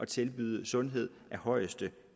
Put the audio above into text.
tilbyde sundhed af højeste